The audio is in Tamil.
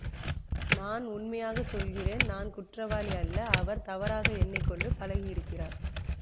நான் உண்மையாகச் சொல்கிறேன் நான் குற்றவாளி அல்ல அவர் தவறாக எண்ணி கொண்டு பழகியிருக்கிறார்